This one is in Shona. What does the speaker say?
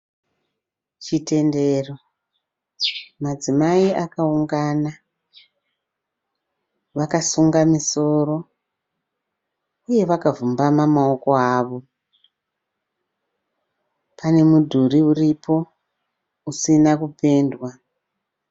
Chitendero, madzimai akaungana, vakasunga misoro, uye vakavhumbama maoko avo, pane midhuri uripo usina kupendwa.